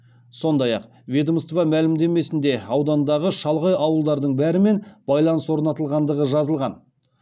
сондай ақ ведомство мәлімдемесінде аудандағы шалғай ауылдардың бәрімен байланыс орнатылғандығы жазылған